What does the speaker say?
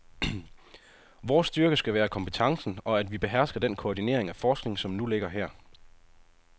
Vores styrke skal være kompetencen og at vi behersker den koordinering af forskning, som nu ligger her.